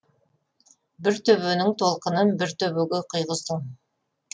бір төбенің толқынын бір төбеге құйғыздың